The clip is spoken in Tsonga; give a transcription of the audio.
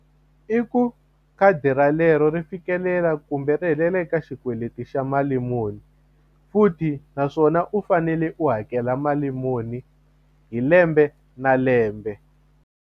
I ku khadi ralero ri fikelela kumbe ri helela eka xikweleti xa mali muni futhi naswona u fanele u hakela mali muni hi lembe na lembe.